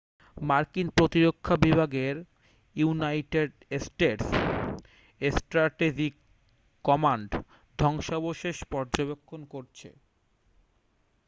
মার্কিন প্রতিরক্ষা বিভাগের ইউনাইটেড স্টেটস স্ট্র্যাটেজিক কমান্ড ধ্বংসাবশেষ পর্যবেক্ষণ করছে